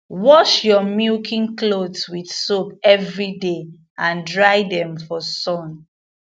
wash your milking cloths with soap every day and dry them for sun